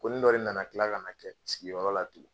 Konin dɔ de nana tila kana kɛ sigiyɔrɔ la tugu